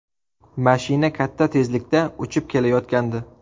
Mashina katta tezlikda uchib kelayotgandi.